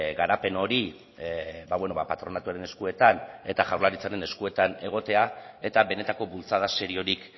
garapen hori patronatuaren eskuetan eta jaurlaritzaren eskuetan egotea eta benetako bultzada seriorik